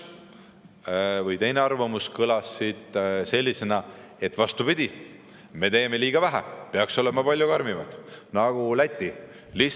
Teine arvamus kõlas sellisena, et vastupidi, me teeme liiga vähe, peaks olema palju karmimad, nagu Läti.